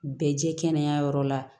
Bɛɛ jɛ kɛnɛ yɔrɔ la